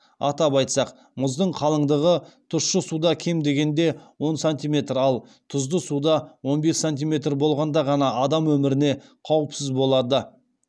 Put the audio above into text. атап айтсақ мұздың қалыңдығы тұщы суда кем дегенде он сантиметр ал тұзды суда он бес сантиметр болғанда ғана адам өміріне қауіпсіз болады